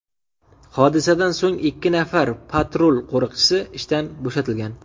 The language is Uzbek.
Hodisadan so‘ng ikki nafar patrul qo‘riqchisi ishdan bo‘shatilgan.